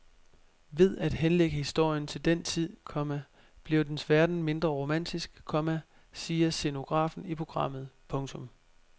Ved at henlægge historien til den tid, komma bliver dens verden mindre romantisk, komma siger scenografen i programmet. punktum